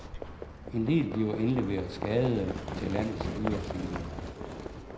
En del bliver indleveret skadede til landets dyreklinikker.